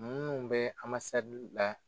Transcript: Munnu bɛ la